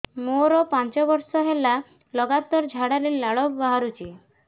ମୋରୋ ପାଞ୍ଚ ବର୍ଷ ହେଲା ଲଗାତାର ଝାଡ଼ାରେ ଲାଳ ବାହାରୁଚି